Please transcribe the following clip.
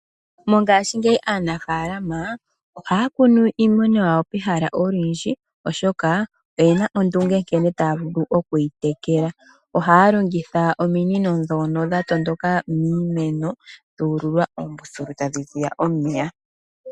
Mongashingeyi aanafaalama, ohaa kunu iimeno yawo pehala olindji, oshoka oye na ondunge nkene taa vulu oku yi tekela. Ohaa longitha ominino ndhono ndhono dha tondoka miimeno , dhu ululwa oombuthulu tadhii ziya omeya.